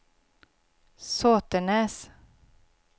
Sotenäs